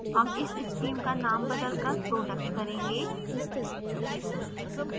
हम इस stream का name बदलकर product करेंगे